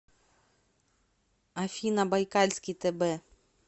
афина байкальский тб